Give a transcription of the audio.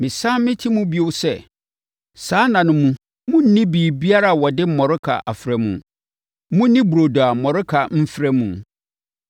Mesane meti mu bio sɛ, saa nna no mu monnni biribiara a wɔde mmɔreka afra mu; monni burodo a mmɔreka mfra mu.”